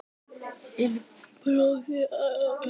Þinn bróðir, Arnór Bjarki.